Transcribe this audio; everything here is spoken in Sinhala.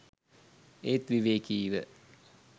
ඒත් විවේකීව